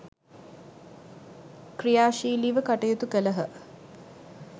ක්‍රියාශීලිව කටයුතු කළහ.